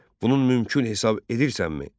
Bunun mümkün hesab edirsənmi?